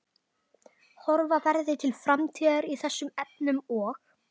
Horfa verði til framtíðar í þessum efnum og?